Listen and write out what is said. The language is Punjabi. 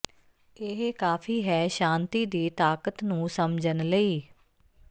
ਇਹੀ ਕਾਫ਼ੀ ਹੈ ਸ਼ਾਂਤੀ ਦੀ ਤਾਕਤ ਨੂੰ ਸਮਝਣ ਲਈ